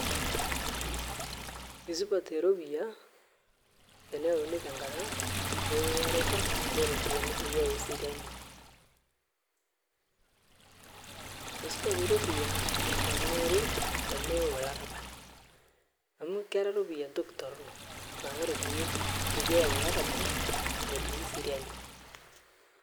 Eisupat eropiyia teneyauni tenkata ewuaroroto ooropiyiani peyie eyauni eseriani. eisupat eropiyia tenewori tenkata pee meyau olarabal amuu kera ropiyia entoki torono naa ore peyie eyau olarabal metumi eseriani